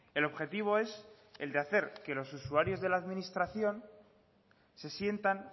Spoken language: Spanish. el objetivo es el de hacer que los usuarios de la administración se sientan